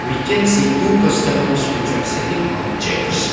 we can see two customers which are sitting on the chairs.